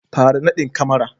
fara nadin kamara